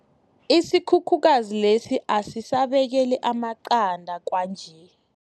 Isikhukhukazi lesi asisabekeli amaqanda kwanje.